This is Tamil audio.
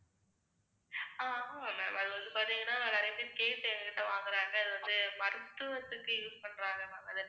ஆஹ் ஆஹ் ma'am அது வந்து பார்த்தீங்கன்னா நிறைய பேர் கேட்டு எங்ககிட்ட வாங்கறாங்க, அது வந்து மருத்துவத்துக்கு use பண்றாங்க ma'am அது